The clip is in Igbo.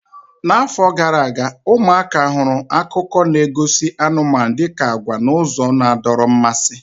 Ọtụtụ afọ gara aga, ụmụaka hụrụ akụkọ na-egosi anụmanụ dị ka agwa n'ụzọ na-adọrọ mmasị.